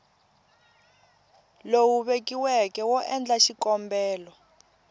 lowu vekiweke wo endla xikombelo